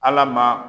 Ala ma